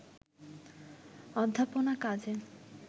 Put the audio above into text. অধ্যাপনা কাজে